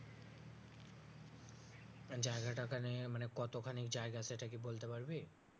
জায়গাটা ওই খানে মানে কত খানি জায়গা সেটা কি বলতে পারবি